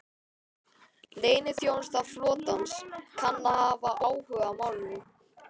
Leyniþjónusta flotans kann að hafa áhuga á málinu